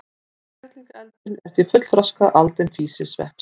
Kerlingareldurinn er því fullþroskað aldin físisveppsins.